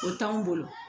O t'anw bolo